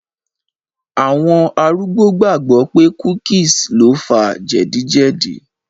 Àwọn arúgbó gbàgbọ̀ pé cookies lo fa jẹ̀díjẹ̀dí